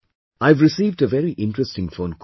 I have received a very interesting phone call